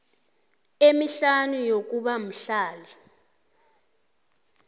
emihlanu yokuba mhlali